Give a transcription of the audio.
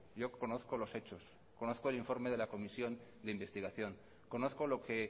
yo conozco los hechos conozco el informe de la comisión de investigación conozco lo que